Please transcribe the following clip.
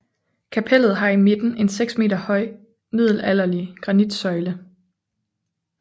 Kapellet har i midten en 6 m høj middelalderlig granitsøjle